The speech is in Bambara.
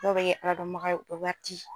Dɔw be kɛ ala dɔn baga ye u be wari di